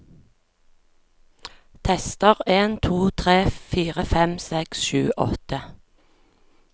Tester en to tre fire fem seks sju åtte